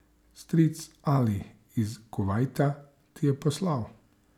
Stric Ali iz Kuvajta ti je poslal?